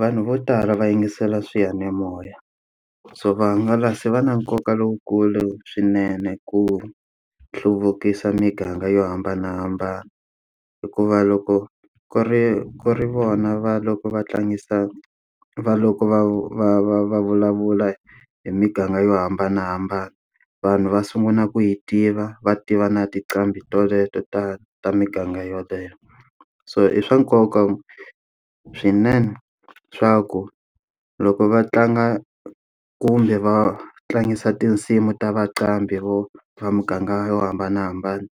Vanhu vo tala va yingisela swiyanimoya. So vahangalasi va na nkoka lowukulu swinene ku hluvukisa miganga yo hambanahambana. Hikuva loko ku ri ku ri vona va loko va tlangisa va loko va va va va vulavula hi miganga yo hambanahambana, vanhu va sungula ku yi tiva va tiva na tinqambi teleto ta ta miganga yaleyo. So i swa nkoka swinene swa ku loko va tlanga kumbe va tlangisa tinsimu ta vanqambi va muganga yo hambanahambana,